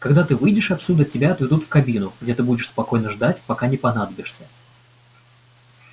когда ты выйдешь отсюда тебя отведут в кабину где ты будешь спокойно ждать пока не понадобишься